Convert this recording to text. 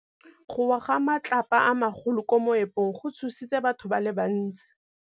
Go wa ga matlapa a magolo ko moepong go tshositse batho ba le bantsi.